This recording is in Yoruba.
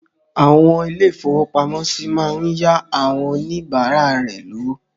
Àwọn ilé-ìfowópamọ́sí máa ń yá àwon oníbàárà rẹ lówó.